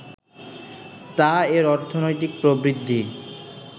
তা এর অর্থনৈতিক প্রবৃদ্ধি